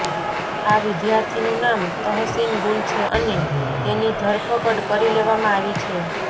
આ વિદ્યાર્થીનું નામ તહસીન ગુલ છે અને તેની ધરપકડ કરી લેવામાં આવી છે